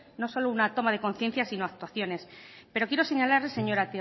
no solo una toma de conciencia sino actuaciones pero quiero señalarle señora